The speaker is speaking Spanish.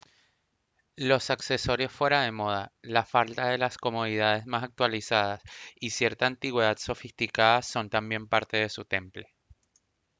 los accesorios fuera de moda la falta de las comodidades más actualizadas y cierta antigüedad sofisticada son también parte de su temple